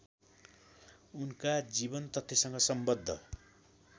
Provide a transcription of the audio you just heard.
उनका जीवनतथ्यसँग सम्बद्ध